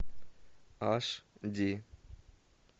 аш ди